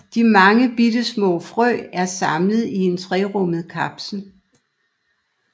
De mange bittesmå frø er samlet i en trerummet kapsel